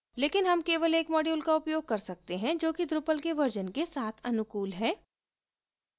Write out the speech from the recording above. लेकिन हम केवल एक module का उपयोग कर सकते हैं जो कि drupal के version के साथ अनुकूल है